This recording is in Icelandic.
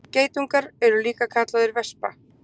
Geitungur er líka kallaður vespa.